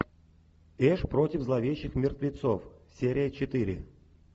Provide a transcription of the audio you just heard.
эш против зловещих мертвецов серия четыре